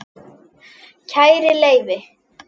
Kæri Leifi